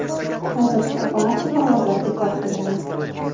Hozircha barcha parvozlar bekor qilingan.